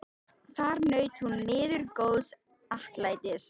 Þar naut hún miður góðs atlætis.